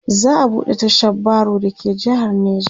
za'a buɗe tashar baro da ke jehar neja